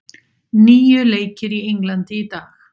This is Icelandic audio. Níu leikir í Englandi í dag